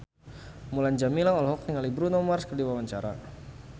Mulan Jameela olohok ningali Bruno Mars keur diwawancara